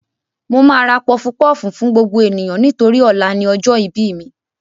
Mo máa ra pọfupọ́ọ̀fù fún gbogbo ènìyàn nítorí ọ̀la ni ọjọ́ ìbí mi